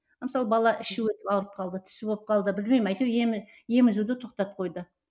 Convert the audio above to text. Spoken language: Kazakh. мысалы бала іші өтіп ауырып қалды тісі болып қалды білмеймін әйтеуір емізуді тоқтатып қойды